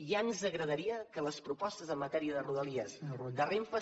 ja ens agradaria que les propostes en matèria de rodalies de renfe